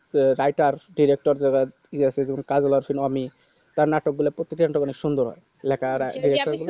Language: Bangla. তো writer director যে গুলা কাজল অর্চন ও আমি তার নাটক গুলা প্রত্যেকটি অনেকটা সুন্দর এলাকা